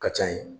Ka ca ye